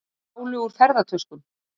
Stálu úr ferðatöskum